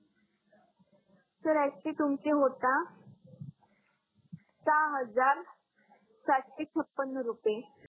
sir actually तुमचे होता सहा हजार सातशे छप्पन रुपये